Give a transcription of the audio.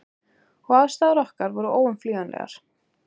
Og aðstæður okkar voru óumflýjanlegar.